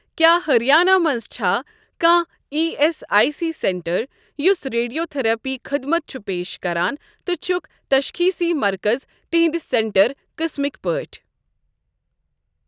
کیٛاہ ہریانہ مَنٛز چھا کانٛہہ E S I C centre یُس ریڈِیو تٔھرپی خدمت چھُ پیش کران تہٕ چھُکھ تشخیٖصی مرکز تِہنٛدِ سینٹر قٕسمٕکۍ پٲٹھۍ؟